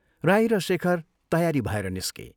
राई र शेखर तयारी भएर निस्के।